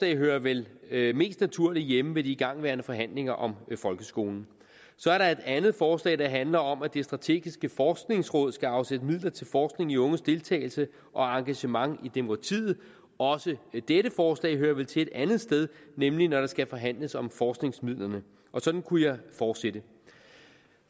hører vel vel mest naturligt hjemme ved de igangværende forhandlinger om folkeskolen så er der et andet forslag der handler om at det strategiske forskningsråd skal afsætte midler til forskning i unges deltagelse og engagement i demokratiet også dette forslag hører vel til et andet sted nemlig når der skal forhandles om forskningsmidlerne og sådan kunne jeg fortsætte